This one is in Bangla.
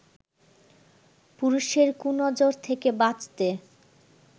পুরুষের 'কুনজর' থেকে বাঁচতে